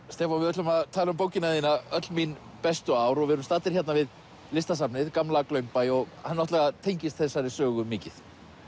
Stefán við ætlum að tala um bókina þína öll mín bestu ár við erum staddir við Listasafnið gamla Glaumbæ og hann tengist þessari sögu mikið